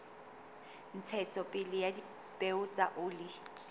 ntshetsopele ya dipeo tsa oli